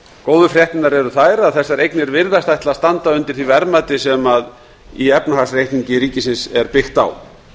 góðu fréttirnar eru þær að þessar eignir virðast ætla að standa undir því verðmati sem í efnahagsreikningi ríkisins er byggt á